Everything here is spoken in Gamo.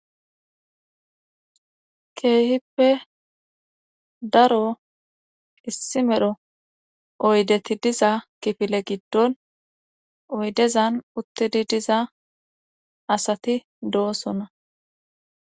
keehippe daro issi medho oydeti diza kifile giddon oydezan uttidi diza asati doosona